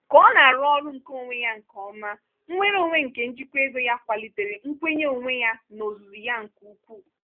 ka ọ na-arụ ọrụ nke onwe ya nke ọma nnwere onwe nke njikwa ego ya kwalitere nkwenye onwe ya n'ozuzu ya nke ukwuu.